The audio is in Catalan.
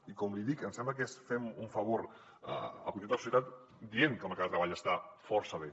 i com li dic em sembla que fem un favor al conjunt de la societat dient que el mercat de treball està força bé